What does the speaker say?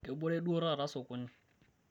kebore duo taata sokoni